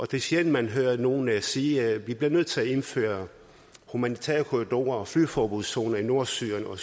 det er sjældent man hører nogen sige at vi bliver nødt til at indføre humanitære korridorer og flyveforbudszoner i nordsyrien og